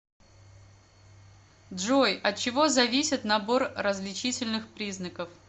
джой от чего зависит набор различительных признаков